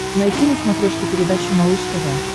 найти на смотрешке передачу малыш тв